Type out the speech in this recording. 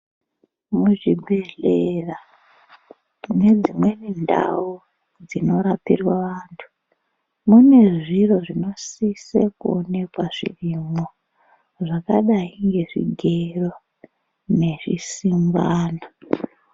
Muzvibhedhlera nedzimweni ndau dzinorapirwa vantu, mune zviro zvinosise kuonekwa zvirimo, zvakadayi ngezvigero nezvisingwana.